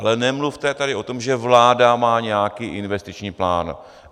Ale nemluvte tady o tom, že vláda má nějaký investiční plán.